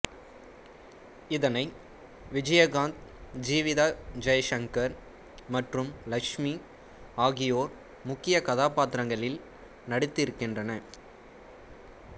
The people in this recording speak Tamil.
இதனை விஜயகாந்த் ஜீவிதா ஜெய்சங்கர் மற்றும் லட்சுமி ஆகியோர் முக்கிய கதாபாத்திரங்களில் நடித்திருக்கின்றனர்